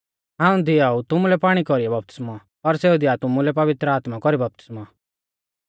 हाऊं दिआऊ तुमुलै पाणी कौरीऐ बपतिस्मौ पर सेऊ दिया तुमुलै पवित्र आत्मा कौरी बपतिस्मौ